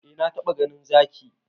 Eh na taba ganin Zaki.